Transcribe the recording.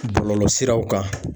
Bɔlɔlɔsiraw kan.